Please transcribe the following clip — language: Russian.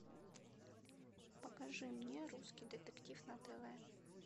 покажи мне русский детектив на тв